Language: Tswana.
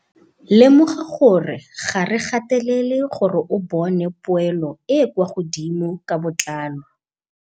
Lemoga gore ga re gatelele gore o bone poelo e e kwa godimo ka botlalo.